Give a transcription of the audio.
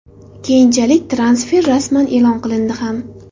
Keyinchalik transfer rasman e’lon qilindi ham.